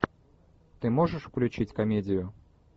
ты можешь включить комедию